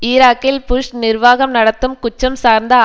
ஈராக்கில் புஷ் நிர்வாகம் நடத்தும் குற்றம் சார்ந்த